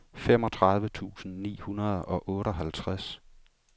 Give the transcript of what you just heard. femogtredive tusind ni hundrede og otteoghalvtreds